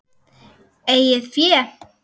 Eigið fé